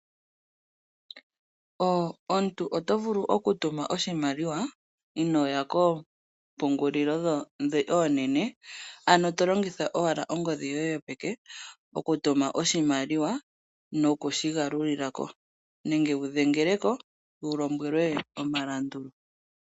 Omuntu oto vulu okutuma oshimaliwa inooya koompungulilo ndhi oonene, ano tolongitha owala ongodhi yoye yopeke, okutuma oshimaliwa nokushi galulilako, nenge wu dhengeleko opo wulombwele omilandu.